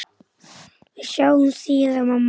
Við sjáumst síðar, mamma.